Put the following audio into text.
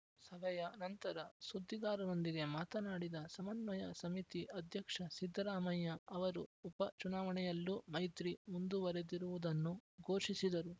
ಸಭೆಯ ನಂತರ ಸುದ್ದಿಗಾರರೊಂದಿಗೆ ಮಾತನಾಡಿದ ಸಮನ್ವಯ ಸಮಿತಿ ಅಧ್ಯಕ್ಷ ಸಿದ್ದರಾಮಯ್ಯ ಅವರು ಉಪ ಚುನಾವಣೆಯಲ್ಲೂ ಮೈತ್ರಿ ಮುಂದುವರೆದಿರುವುದನ್ನು ಘೋಷಿಸಿದರು